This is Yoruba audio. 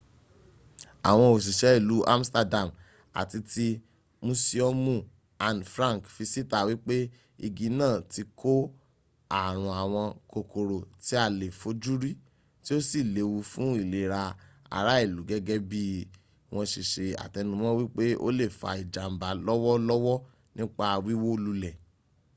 àwọn òsìsé ìlú amsterdam àti ti musiomu anne frank fi síta wípé igi náà ti kó ààrùn àwọn kòkòrò tí a lè fojúrí tí o si léwu fún ìlera ara ìlú gẹ́gẹ́ bí wọn se se àtẹnumọ́ wípé o lè fa ìjàmbà lọ́wọ́lọ́wọ́ nípa wíwó lulẹ̀